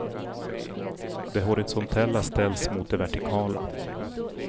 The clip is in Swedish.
Det horisontella ställs mot det vertikala.